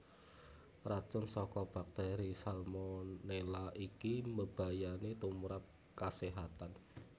Racun saka baktéri Salmonela iki mbebayani tumprap kaséhatan